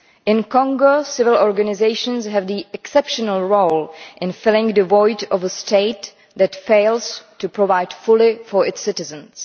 In Congo, civil organisations have an exceptional role in filling the void of a state that fails to provide fully for its citizens.